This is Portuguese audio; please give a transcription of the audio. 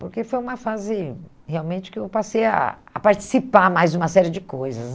Porque foi uma fase, realmente, que eu passei a a participar mais de uma série de coisas.